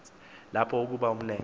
lapho ukuba umlenze